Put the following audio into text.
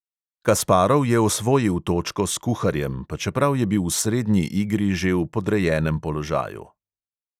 Kasparov je osvojil točko s kuharjem, pa čeprav je bil v srednji igri že v podrejenem položaju.